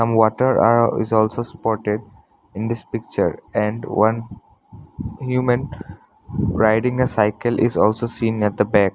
Some water are is also supported in this picture and one human riding the cycle is also seen at the back.